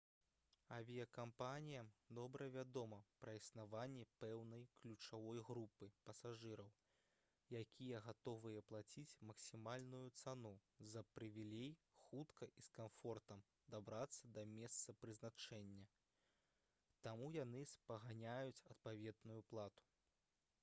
авіякампаніям добра вядома пра існаванне пэўнай ключавой групы пасажыраў якія гатовыя плаціць максімальную цану за прывілей хутка і з камфортам дабрацца да месца прызначэння таму яны спаганяюць адпаведную плату